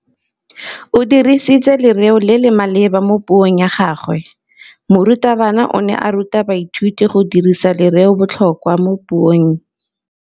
O dirisitse lerêo le le maleba mo puông ya gagwe. Morutabana o ne a ruta baithuti go dirisa lêrêôbotlhôkwa mo puong.